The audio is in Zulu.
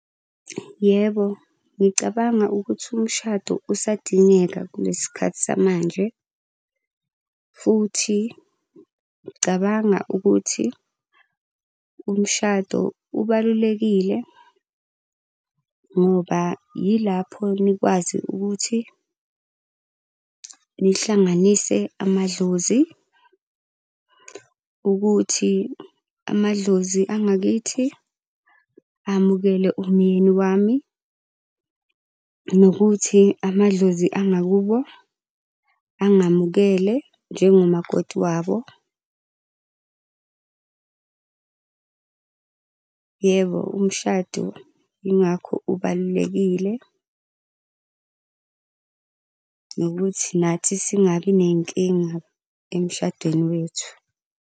Yebo, ngicabanga ukuthi umshado usadingeka kulesi sikhathi samanje. Futhi ngicabanga ukuthi umshado ubalulekile ngoba yilapho nikwazi ukuthi nihlanganise amadlozi ukuthi amadlozi angakithi amukele umyeni wami, nokuthi amadlozi angakubo angamukele njengomakoti wabo. Yebo, umshado yingakho ubalulekile, nokuthi nathi singabi ney'nkinga emshadweni wethu.